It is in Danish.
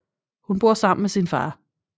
Hun bor sammen med sin far